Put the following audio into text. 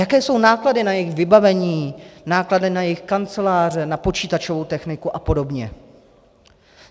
Jaké jsou náklady na jejich vybavení, náklady na jejich kanceláře, na počítačovou techniku a podobně?